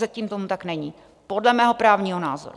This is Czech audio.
Zatím tomu tak není - podle mého právního názoru.